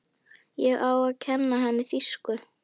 Ég á að kenna henni þýsku.